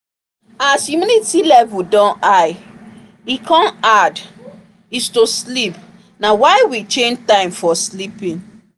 as humidity level don high e come hard is to sleep na why we change time for sleeping